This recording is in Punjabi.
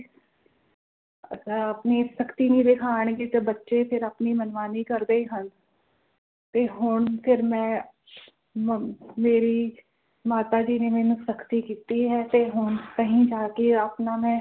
ਆਹ ਆਪਣੀ ਸਖਤੀ ਨਹੀਂ ਦਿਖਾਣਗੇ ਤਾ ਬੱਚੇ ਫਿਰ ਆਪਣੀ ਮਨਮਾਨੀ ਕਰਦੇ ਹਨ ਤੇ ਉਣ ਫਿਰ ਮੈਂ ਮਮ ਮੇਰੀ ਮਾਤਾ ਜੀ ਨੇ ਮੈਨੂੰ ਸਖਤੀ ਕੀਤੀ ਹੈ ਤੇ ਹੁਣ ਕਹੀ ਜਾਕੇ ਆਪਣਾ ਮੈਂ